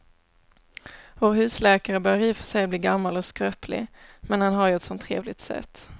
Vår husläkare börjar i och för sig bli gammal och skröplig, men han har ju ett sådant trevligt sätt!